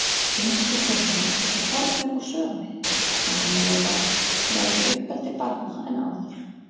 Umskiptingarnir eru horfnir úr sögunni, enda meiri rækt lögð við uppeldi barna en áður.